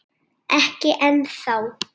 Ekki ennþá